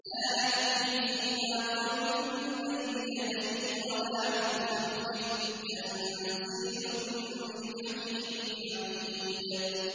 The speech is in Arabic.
لَّا يَأْتِيهِ الْبَاطِلُ مِن بَيْنِ يَدَيْهِ وَلَا مِنْ خَلْفِهِ ۖ تَنزِيلٌ مِّنْ حَكِيمٍ حَمِيدٍ